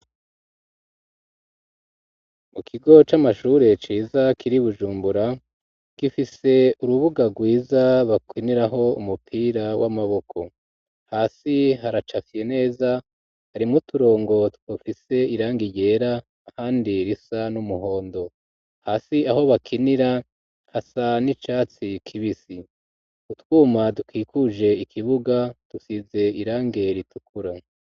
Mu kigo c'amashure ciza kiri bujumbura gifise urubuga rwiza bakiniraho umupira w'amaboko hasi haracafye neza harimwo uturongo dufise irangi ryera hasi risa n'umuhondo hasi aho bakinira hasa n'icatsi kibis,i utwuma dukikuje ikibuga dusize irangi ritukura.